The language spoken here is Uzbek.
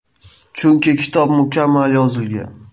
Chunki kitob mukammal yozilgan.